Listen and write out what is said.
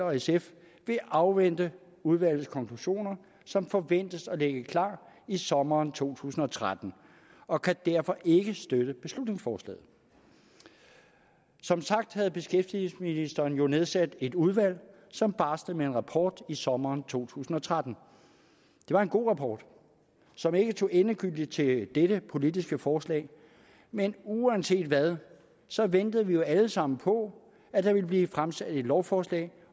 og sf vil afvente udvalgets konklusioner som forventes at ligge klar i sommeren to tusind og tretten og kan derfor ikke støtte beslutningsforslaget som sagt havde beskæftigelsesministeren nedsat et udvalg som barslede med en rapport i sommeren to tusind og tretten det var en god rapport som ikke tog endegyldig stilling til dette politiske forslag men uanset hvad ventede vi jo alle sammen på at der ville blive fremsat et lovforslag